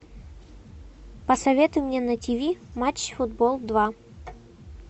посоветуй мне на тиви матч футбол два